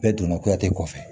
Bɛɛ donna kuyati kɔfɛ